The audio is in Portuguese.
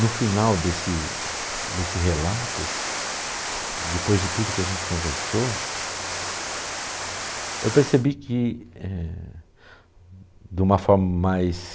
No final desse desse relato, depois de tudo que a gente conversou, eu percebi que, eh de uma forma mais...